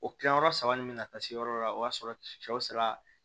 O kilayɔrɔ saba nin me ka taa se yɔrɔ dɔ la o y'a sɔrɔ sɛw sera